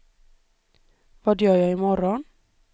vad gör jag imorgon